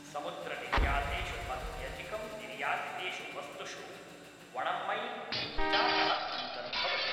समुद्रनिर्यातेषु अत्यधिकं निर्यातितेषु वस्तुषु वण्णमै इञ्चाकः अन्तर्भवति।